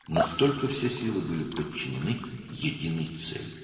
Bütün güclər vahid bir məqsədə tabe edilmişdi.